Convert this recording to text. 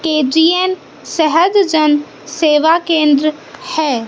K G N सहज जन सेवा केन्द्र है।